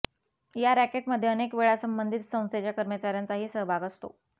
या रॅकेटमध्ये अनेक वेळा संबंधित संस्थेच्या कर्मचाऱ्यांचा ही सहभाग असतो